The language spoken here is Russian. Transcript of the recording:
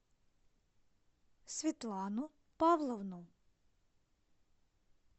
светлану павловну